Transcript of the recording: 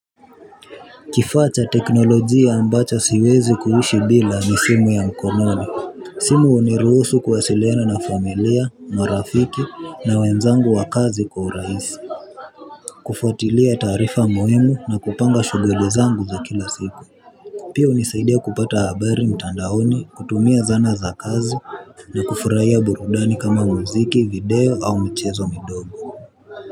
Kifacha teknolojia ambacho siwezi kuhishi bila ni simu ya mkononi simu uniruhusu kwasiliana na familia marafiki na wenzangu wa kazi kwa uraisi kufuatilia tarifa muhimu na kupanga shuguli zangu za kila siku pia unisaidia kupata habari mtandaoni kutumia zana za kazi na kufurahia burudani kama muziki video au mchezo midogo.